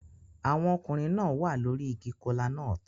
Àwọn ọkùnrin náà wà lórí igi kola-nut